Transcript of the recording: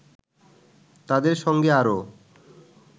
তাদের সঙ্গে আরও